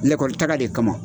Lɛkɔli taga de kama